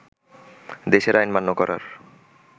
দেশের আইন মান্য করার